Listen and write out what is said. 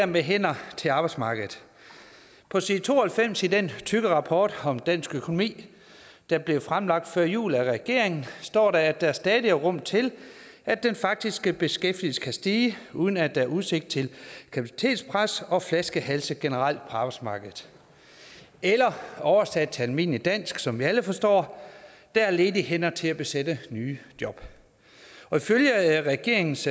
med hænder til arbejdsmarkedet på side to og halvfems i den tykke rapport om dansk økonomi der blev fremlagt før jul af regeringen står der at der stadig er rum til at den faktiske beskæftigelse kan stige uden at der er udsigt til kapacitetspres og flaskehalse generelt på arbejdsmarkedet eller oversat til almindeligt dansk som vi alle forstår der er ledige hænder til at besætte nye job og ifølge regeringens